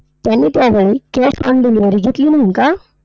त्याने त्यावेळी cash on delivery घेतली नाही का?